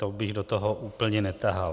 To bych do toho úplně netahal.